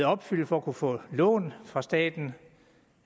opfylde for at kunne få lån fra staten